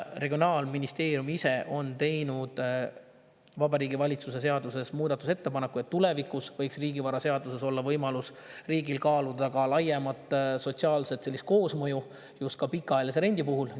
Regionaalministeerium on teinud Vabariigi Valitsuse seaduses ettepaneku, et tulevikus võiks riigivaraseaduses olla riigi võimalus kaaluda laiemat sotsiaalset koosmõju just ka pikaajalise rendi puhul.